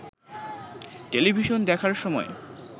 television দেখার সময়